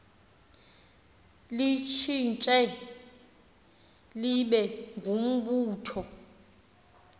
litshintshe libe ngumbutho